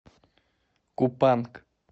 купанг